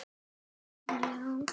Elskaðu ekki þinn bróður.